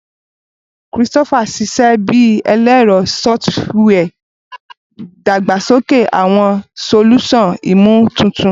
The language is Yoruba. Christopher ṣiṣẹ bi ẹlẹrọ sọfitiwia, dagbasoke awọn solusan imotuntun.